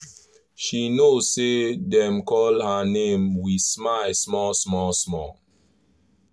she know say dem call her name we smile small small small